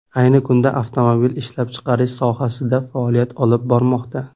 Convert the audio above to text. Ayni kunda avtomobil ishlab chiqarish sohasida faoliyat olib bormoqda.